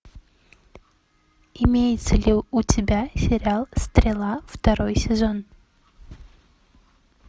имеется ли у тебя сериал стрела второй сезон